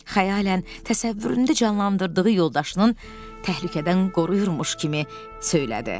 Xəyalən təsəvvüründə canlandırdığı yoldaşının təhlükədən qoruyurmuş kimi söylədi.